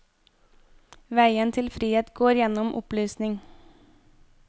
Veien til frihet går gjennom opplysning.